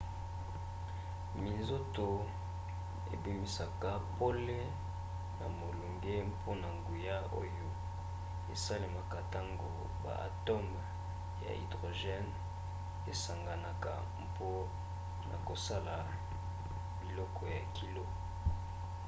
minzoto ebimisaka pole na molunge mpona nguya oyo esalemaka ntango ba atome ya hydrogène esanganaka mpona kosala biloko ya kilo